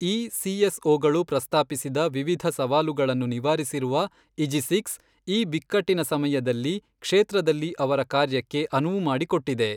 ಈ ಸಿಎಸ್ಓಗಳು ಪ್ರಸ್ತಾಪಿಸಿದ ವಿವಿಧ ಸವಾಲುಗಳನ್ನು ನಿವಾರಿಸಿರುವ ಇಜಿಸಿಕ್ಸ್, ಈ ಬಿಕ್ಕಟ್ಟಿನ ಸಮಯದಲ್ಲಿ ಕ್ಷೇತ್ರದಲ್ಲಿ ಅವರ ಕಾರ್ಯಕ್ಕೆ ಅನುವು ಮಾಡಿಕೊಟ್ಟಿದೆ.